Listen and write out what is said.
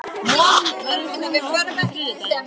Von, ferð þú með okkur á þriðjudaginn?